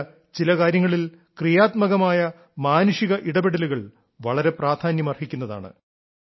മാത്രമല്ല ചില കാര്യങ്ങളിൽ ക്രിയാത്മകമായ മാനുഷിക ഇടപെടലുകൾ വളരെ പ്രാധാന്യമർഹിക്കുന്നതാണ്